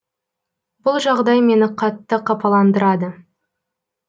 бұл жағдай мені қатты қапаландырады